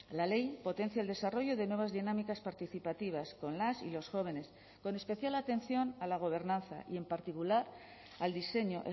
la ley potencia el desarrollo de nuevas dinámicas participativas con las y los jóvenes con especial atención a la gobernanza y en particular al diseño